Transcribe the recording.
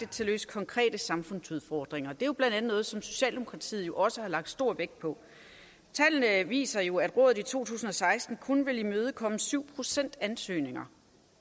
til at løse konkrete samfundsudfordringer er jo blandt andet noget som socialdemokratiet også har lagt stor vægt på tallene viser jo at rådet i to tusind og seksten kun vil imødekomme syv procent af ansøgningerne